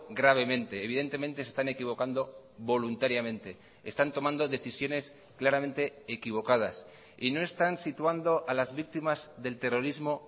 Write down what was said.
gravemente evidentemente se están equivocando voluntariamente están tomando decisiones claramente equivocadas y no están situando a las víctimas del terrorismo